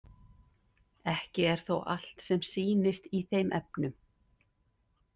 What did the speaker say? Ekki er þó allt sem sýnist í þeim efnum.